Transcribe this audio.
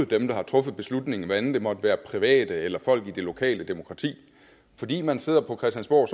dem der har truffet beslutningen hvad enten det måtte være private eller folk i det lokale demokrati fordi man sidder på christiansborg